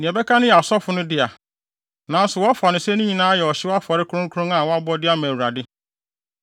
Nea ɛbɛka no yɛ asɔfo no dea, nanso wɔfa no sɛ ne nyinaa yɛ ɔhyew afɔre kronkron a wɔabɔ de ama Awurade.